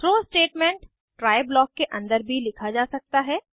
throw statement try blocks के अंदर भी लिखा जा सकता है